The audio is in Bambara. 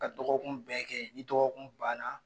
Ka dɔgɔkun bɛɛ kɛ ni dɔgɔkun banna